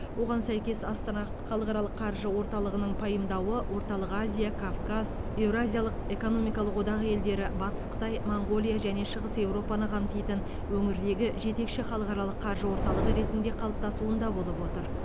оған сәйкес астана халықаралық қаржы орталығының пайымдауы орталық азия кавказ еуразиялық экономикалық одақ елдері батыс қытай моңғолия және шығыс еуропаны қамтитын өңірдегі жетекші халықаралық қаржы орталығы ретінде қалыптасуында болып отыр